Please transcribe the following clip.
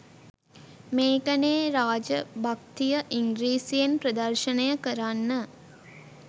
මේකනෙ රාජ භක්තිය ඉංග්‍රිසියෙන් ප්‍රදර්ශණය කරන්න